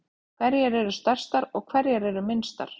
Hverjar eru stærstar og hverjar eru minnstar?